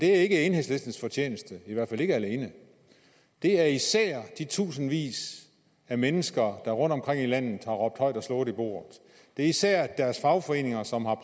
er enhedslistens fortjeneste i hvert fald ikke alene det er især de tusindvis af mennesker der rundtomkring i landet har råbt højt og slået i bordet det er især deres fagforeninger som har